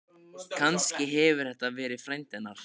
Kannski hefur þetta verið frændi hennar?